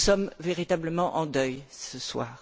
Nous sommes véritablement en deuil ce soir.